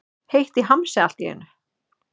Heitt í hamsi allt í einu.